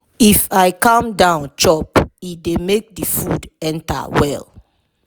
if i calm down chop e dey make the food enter well.